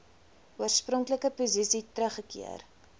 oorspronklike posisie teruggekeer